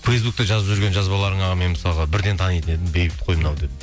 фейсбукте жазып жүрген жазбаларыңа мен мысалға бірден танитын едім бейбіт қой мынау деп